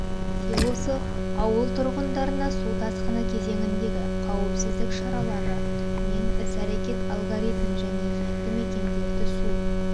селосы ауыл тұрғындарына су тасқыны кезеңіндегі қауіпсіздік шаралары мен іс-әрекет алгоритмі және елді мекендерді су